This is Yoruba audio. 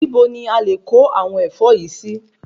Ibo ni a lè kó àwọn ẹ̀fọ́ yìí sì?